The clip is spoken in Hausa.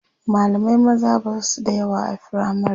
mallamai maza Basu da yawa a firamare